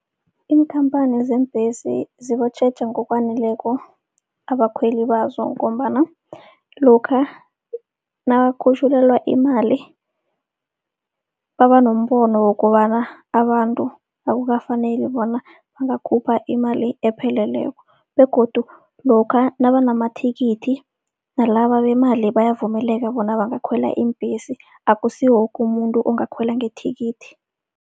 Iinkhamphana zeembhesi zibatjheja ngokwaneleko abakhweli bazo, ngombana lokha nawakhutjhulelwa imali baba nombono wokobana abantu akukafaneli bona bangakhupha imali epheleleko. Begodu lokha nabanamathikithi nalaba bemali bayavumeleka bona bangakhwela iimbhesi akusi woke umuntu ongakhwela ngethikithi.